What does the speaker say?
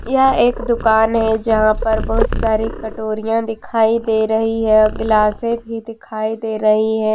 यह एक दुकान है जहां पर बहुत सारी कटोरिया दिखाई दे रही है और गिलासे भी दिखाई दे रही है।